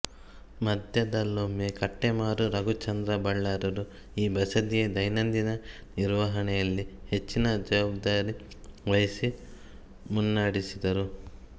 ಮಧ್ಯದಲ್ಲೊಮ್ಮೆ ಕಟ್ಟೆಮಾರು ರಘುಚಂದ್ರ ಬಲ್ಲಾಳರು ಈ ಬಸದಿಯ ದೈನಂದಿನ ನಿರ್ವಹಣೆಯಲ್ಲಿ ಹೆಚ್ಚಿನ ಜವಾಬ್ದಾರಿವಹಿಸಿ ಮುನ್ನಡೆಸಿದರು